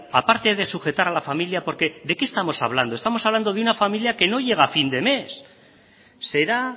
aparte de sujetar a la familia porque de qué estamos hablando estamos hablando de una familia que no llega a fin de mes será